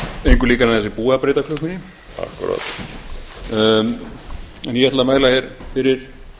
að breyta klukkunni ég ætla að mæla hér fyrir